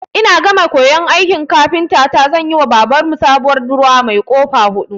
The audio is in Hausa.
Ina gama koyan aikin kafintata zanyiwa babar mu sabuwar durowa mai ƙofa huɗu.